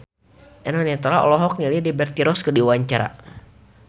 Eno Netral olohok ningali Liberty Ross keur diwawancara